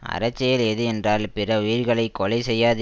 அறச்செயல் எது என்றால் பிற உயிர்களை கொலை செய்யாது